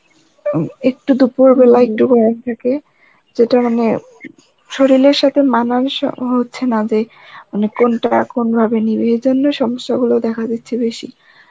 উম একটু দুপুর বেলা একটু গরম থাকে, যেটা মানে, শরিলের সাথে মানান সহ হচ্ছে না যে মানে কোনটা কোন ভাবে নিবে এই জন্য সমস্যা গুলো দেখা যাচ্ছে বেশি